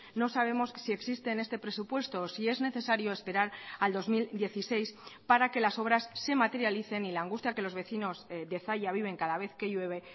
no sabemos si existe en este presupuesto o si es necesario esperar al dos mil dieciséis para que las obras se materialicen y la angustia que los vecinos de zalla viven cada vez que llueve